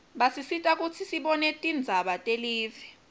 basisita kutsi sibone tindzaba telive